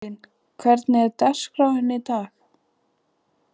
Sigurlín, hvernig er dagskráin í dag?